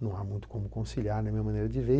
não há muito como conciliar na minha maneira de ver.